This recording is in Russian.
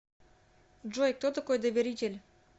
джой кто такой доверитель